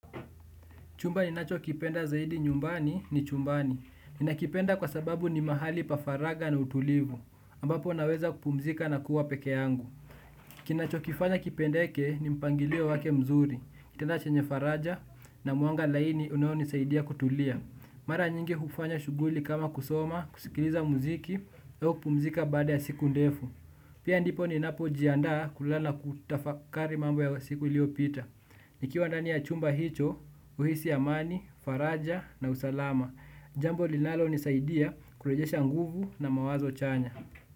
Chumba ninachokipenda zaidi nyumbani ni chumbani. Ninakipenda kwa sababu ni mahali pa faraga na utulivu. Ambapo naweza kupumzika na kuwa peke yangu. Kinachokifanya kipendeke ni mpangilio wake mzuri. Kitanda chenye faraja na mwanga laini unaonisaidia kutulia. Mara nyingi hufanya shuguli kama kusoma, kusikiliza muziki. Eo kupumzika baada ya siku ndefu. Pia ndipo ninapojianda kulala kutafakari mambo ya siku iliopita. Nikiwa ndani ya chumba hicho, huhisi amani, faraja na usalama. Jambo linalonisaidia kurejesha nguvu na mawazo chanya.